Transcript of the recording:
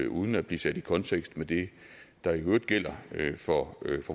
uden at blive sat i kontekst med det der i øvrigt gælder for